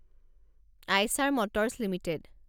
Eicher motors limited